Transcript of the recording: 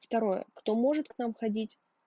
второе кто может к нам ходить